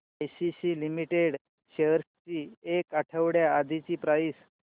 ACC limited shares ची एक आठवड्या आधीची प्राइस